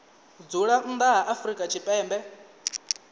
dzula nnḓa ha afrika tshipembe